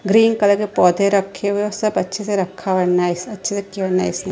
Green colour के पौधे रखे हुए हैं सब अच्छे रखा हुआ है नाईस अच्छे से रखे हुए नाईस ।